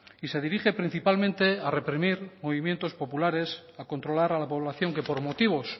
y se dirige principalmente a reprimir movimientos populares a controlar a la población que por motivos